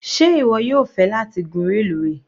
Sé ìwọ yóò fẹ́ láti gún reluwe.?